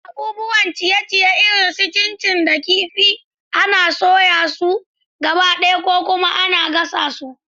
Abubuwan ciye-ciye irin su chin chin da kifi kifi ana soya su gabaɗaya ko kuma ana gasa su.